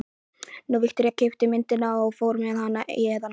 Nú, Viktoría keypti myndina og fór með hana héðan.